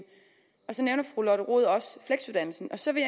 så nævner fru lotte rod også fleksuddannelsen og så vil